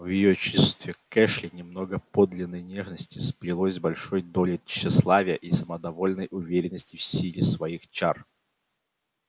в её чувстве к эшли немного подлинной нежности сплелось с большой долей тщеславия и самодовольной уверенности в силе своих чар